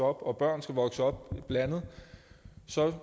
og børn skal vokse op blandet